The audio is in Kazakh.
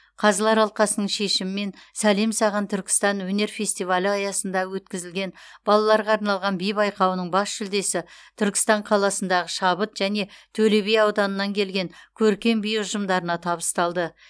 қазылар алқасының шешімімен сәлем саған түркістан өнер фестивалі аясында өткізілген балаларға арналған би байқауының бас жүлдесі түркістан қаласындағы шабыт және төлеби ауданыннан келген көркем би ұжымдарына табысталды